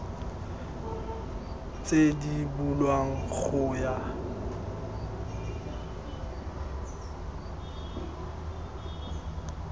tse di bulwang go ya